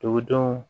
Dugudenw